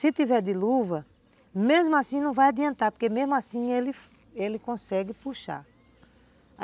Se tiver de luva, mesmo assim não vai adiantar, porque mesmo assim ele, ele consegue puxar.